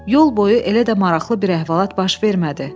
Yol boyu elə də maraqlı bir əhvalat baş vermədi.